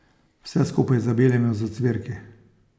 Vse skupaj zabelimo z ocvirki.